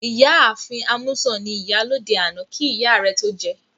Ìyá ààfin Amusan ni Ìyálóde àná kí ìyá rẹ tó jẹ